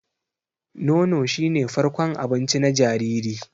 Nono shi ne farkon abinci na jariri.